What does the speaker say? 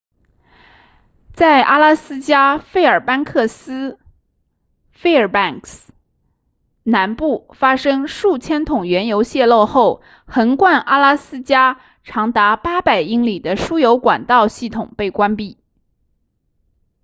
在阿拉斯加费尔班克斯 fairbanks 南部发生数千桶原油泄漏后横贯阿拉斯加长达800英里的输油管道系统被关闭